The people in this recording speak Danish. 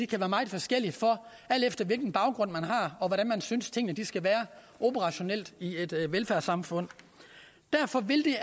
kan være meget forskellige alt efter hvilken baggrund man har og hvordan man synes tingene skal være operationelt i et velfærdssamfund derfor vil det